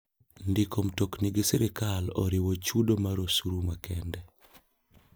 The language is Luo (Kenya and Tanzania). Ndiko mtokni gi sirkal oriwo chudo mar osuru makende.